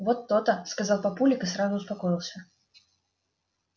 вот то-то сказал папулик и сразу успокоился